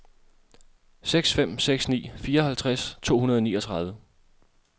seks fem seks ni fireoghalvtreds to hundrede og niogtredive